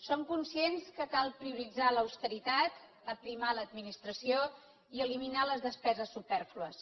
som conscients que cal prioritzar l’austeritat aprimar l’administració i eliminar les despeses supèrflues